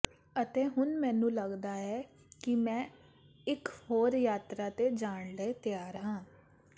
ਅਤੇ ਹੁਣ ਮੈਨੂੰ ਲੱਗਦਾ ਹੈ ਕਿ ਮੈਂ ਇਕ ਹੋਰ ਯਾਤਰਾ ਤੇ ਜਾਣ ਲਈ ਤਿਆਰ ਹਾਂ